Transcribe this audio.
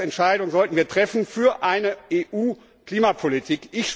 Die Grundsatzentscheidung sollten wir treffen für eine EU Klimapolitik.